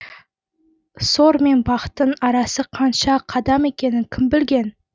сор мен бақтың арасы қанша қадам екенін кім білген